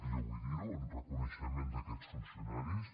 jo vull dir ho en reconeixement d’aquests funcionaris